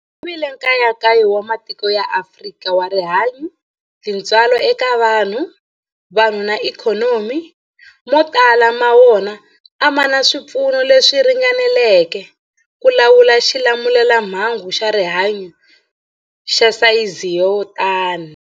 Ku vile nkayakayo wa matiko ya Afrika wa rihanyu, tintswalo eka vanhu, vanhu na ikhonomi, mo tala ma wona a ma na swipfuno leswi ringaneleke ku lawula xilamulelamhangu xa rihanyu xa sayizi yo tani.